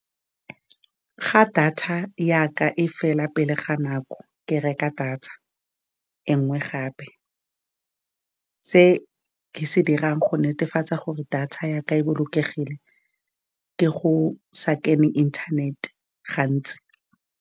Fa data ya ka e fela pele ga nako, ke reka data e ngwe gape. Se ke se dirang go netefatsa gore data yaka e bolokegile, ke go sa kene internet-te gantsi.